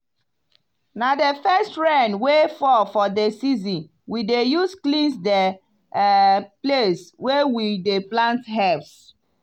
na the first rain wey fall for the season we dey use cleanse the um place wey we dey plant herbs.